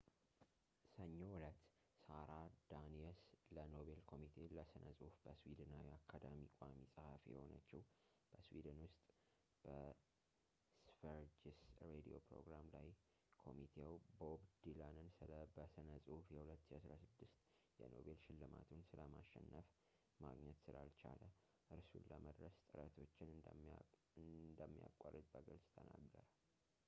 ሰኞ ዕለት ሳራ ዳኒየስ ለኖቤል ኮሚቴ ለስነ ጽሁፍ በስዊድናዊ አካዳሚ ቋሚ ጸሃፊ የሆነቸው በስዊድን ውስጥ በስቨሪጅስ ሬድዮ ፕሮግራም ላይ ኮሚቴው ቦብ ዲላንን ስለ በስነ ጽሁፍ የ2016 የኖቤል ሽልማቱን ስለማሸንፍ ማግኘት ስላልቻለ እርሱን ለመድረስ ጥረቶችን እንሚያቋረጥ በግልጽ ተናገረ